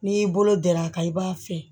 N'i y'i bolo d'a kan i b'a fɛ